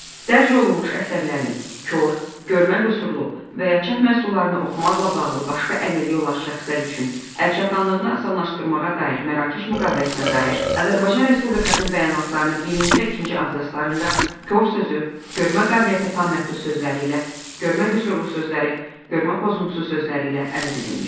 Dərc olunmuş əsərlərin, kor, görmə qüsurlu və ya çap məhsullarını oxumaqla bağlı başqa əlilliyi olan şəxslər üçün əl çatanlığını asanlaşdırmağa dair Mərakeş müqaviləsinə dair Azərbaycan Respublikasının bəyanatlarının birinci və ikinci abzazlarında kor sözü, görmə qabiliyyəti tam məhdud sözləri ilə, görmə qüsurlu sözləri, görmə pozuntusu sözləri ilə əvəz edilmişdir.